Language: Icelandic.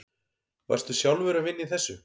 Varstu sjálfur að vinna í þessu?